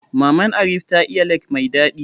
Maman Arif ta iya lek mai daɗi